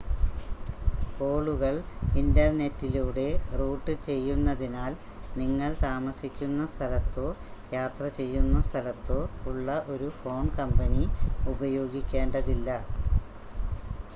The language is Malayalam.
കോളുകൾ ഇൻ്റർനെറ്റിലൂടെ റൂട്ട് ചെയ്യുന്നതിനാൽ നിങ്ങൾ താമസിക്കുന്ന സ്ഥലത്തോ യാത്ര ചെയ്യുന്ന സ്ഥലത്തോ ഉള്ള ഒരു ഫോൺ കമ്പനി ഉപയോഗിക്കേണ്ടതില്ല